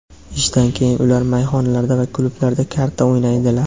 ishdan keyin ular mayxonalarda va klublarda karta o‘ynaydilar.